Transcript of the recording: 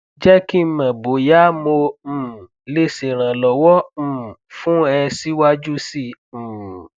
je ki mo boya mo um le seranlowo um fun e si waju si um